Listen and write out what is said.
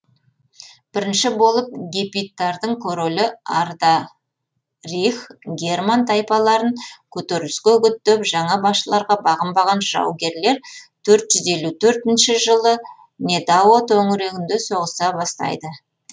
бірінші болып гепидтардың королі арда рих герман тайпаларын көтеріліске үгіттеп жаңа басшыларға бағынбаған жаугерлер төрт жүз елу төртінші жылы недао төңірегінде соғыса бастайды